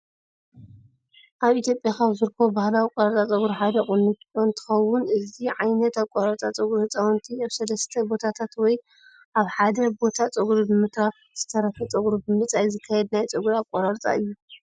ኣብ ኢትዮጵያ ካብ ዝረከቡ ባህላዊ ኣቆራርፃ ፀጉሪ ሓደ ቁንጮ እንትኸውን እዚ ዓይነት ኣቆራርፃ ፀጉሪ ህፃውንቲ ኣብ ሰለስተ ቦታታት ወይ ኣብ ሓደ ቦታ ፀጉሪ ብምትራፍ ዝተረፈ ፀጉሪ ብምልፃይ ዝካየድ ናይ ፀጉሪ ኣቆራርፃ እዩ።